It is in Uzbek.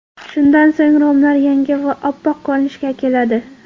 Shundan so‘ng romlar yangi va oppoq ko‘rinishga keladi.